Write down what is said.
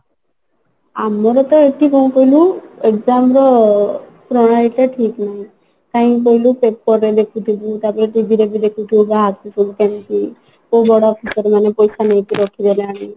ଆମର ତ ଏଠି କଣ କହିଲୁ ଏବେ ଆମର ପଳେଇବା ଟା ଠିକ ନୁହେଁ କାହିଁକି କହିଲୁ paper ରେ ଦେଖୁଥିବୁ ତାପରେ TV ରେ ବି ଦେଖୁଥିବୁ ବାହାରୁଛି ସବୁ କେମିତି କଉ ବଡ officer ମାନେ ପଇସା ନେଇକି ରଖିଦେଲେଣି